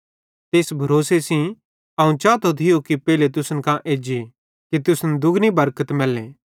ते इस भरोसे सेइं अवं चातो थियो कि पेइलो तुसन कां एज्जी कि तुसन दुगनी बरकत मैल्ले